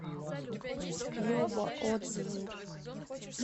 любо отзывы